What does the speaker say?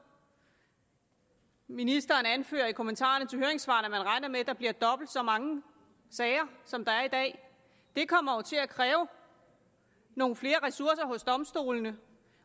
ministeren anfører i kommentarerne til høringssvarene at man regner med at der bliver dobbelt så mange sager som der er i dag det kommer jo til at kræve nogle flere ressourcer hos domstolene